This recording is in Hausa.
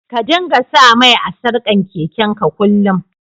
Ka dinga sa mai a'sarkan keken ka kullum.